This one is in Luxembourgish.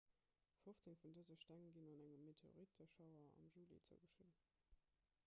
fofzéng vun dëse steng ginn engem meteoritteschauer am juli zougeschriwwen